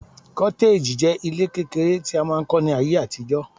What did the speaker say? cottage je ile kekere mri a mask n ko ni aye atijo